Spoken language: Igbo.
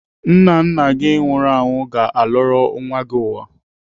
Nna nna gị nwụrụ anwụ ga-alọrọ nwa gị ụwa.